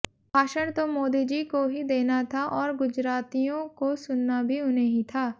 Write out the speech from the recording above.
भाषण तो मोदीजी को ही देना था और गुजरातियों को सुनना भी उन्हें ही था